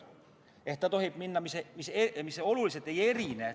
Ta tohib sõita kiirusega, mis oluliselt ei erine.